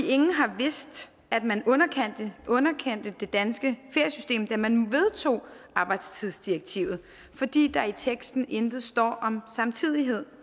ingen har vidst at man underkendte det danske feriesystem da man vedtog arbejdstidsdirektivet fordi der i teksten intet står om samtidighed